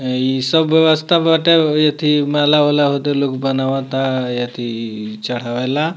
अ ई सब व्यवस्था बाटे एथी माला-वाला होता लोग बनावता एथी चढ़ावेला।